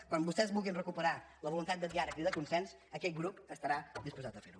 quan vostès vulguin recuperar la voluntat de diàleg i de consens aquest grup estarà disposat a fer ho